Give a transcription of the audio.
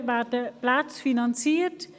Aktuell werden Plätze finanziert.